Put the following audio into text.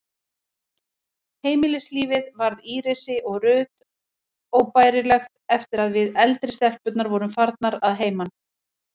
Heimilislífið varð Írisi og Ruth óbærilegt eftir að við, eldri stelpurnar, vorum farnar að heiman.